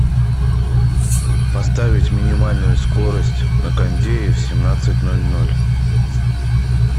поставить минимальную скорость на кондее в семнадцать ноль ноль